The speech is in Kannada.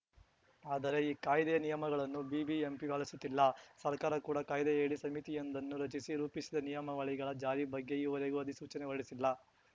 ಆದರೆ ಈ ಕಾಯ್ದೆಯ ನಿಯಮಗಳನ್ನು ಬಿಬಿಎಂಪಿ ಪಾಲಿಸುತ್ತಿಲ್ಲ ಸರ್ಕಾರ ಕೂಡ ಕಾಯ್ದೆಯಡಿ ಸಮಿತಿಯೊಂದನ್ನು ರಚಿಸಿ ರೂಪಿಸಿದ ನಿಯಮಾವಳಿಗಳ ಜಾರಿ ಬಗ್ಗೆ ಈವರೆಗೂ ಅಧಿಸೂಚನೆ ಹೊರಡಿಸಿಲ್ಲ